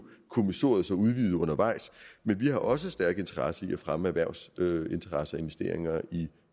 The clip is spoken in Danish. kommissoriet udvidet undervejs men vi har også en stærk interesse i at fremme erhvervsinteresser og investeringer i